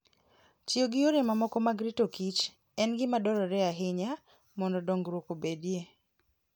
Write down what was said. Tiyo gi yore mamoko mag rito kich en gima dwarore ahinya mondo dongruok obedie.